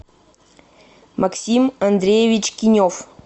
максим андреевич кинев